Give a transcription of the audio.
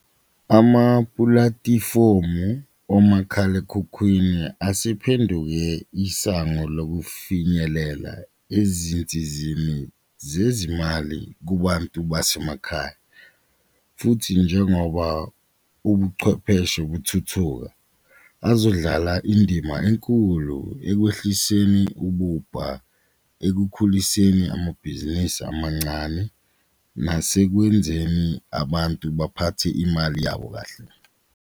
Amapulatifomu omakhalekhukhwini asephenduke isango lokufinyelela ezinsizini zezimali kubantu basemakhaya futhi njengoba ubuchwepheshe buthuthuka azodlala indima enkulu ekwehliseni ububha, ekukhuliseni amabhizinisi amancane nasekwenzeni abantu baphathe imali yabo kahle.